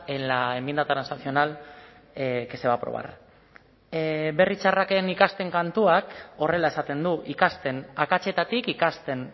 en la enmienda transaccional que se va a aprobar berri txarraken ikasten kantuak horrela esaten du ikasten akatsetatik ikasten